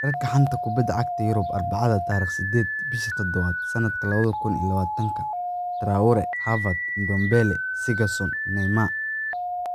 Wararka xanta kubada cagta Yurub Arbacada 08.07.2020: Traore, Havertz, Ndombele, Sessegnon, Neymar